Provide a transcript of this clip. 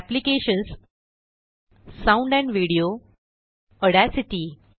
applications GTGT sound and video GTGT Audacity